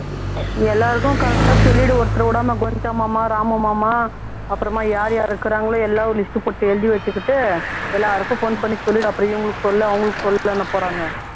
நீ எல்லாருக்கும் correct ஆ சொல்லிரு ஒருத்தரை விடாம கோவிந்தசாமி மாமா ராம மாமா அப்புறமா யார் யார் இருக்கிறாங்களோ எல்லாம் ஒரு list போட்டு எழுதி வைச்சுகிட்டு எல்லாருக்கும் phone பண்ணி சொல்லிரு அப்புறம் இவங்களுக்கு சொல்லல அவங்களுக்கு சொள்ளலங்கப்போறாங்க